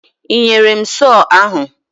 Ị nyere m sọọ ahụ?